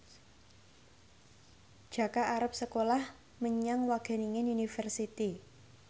Jaka arep sekolah menyang Wageningen University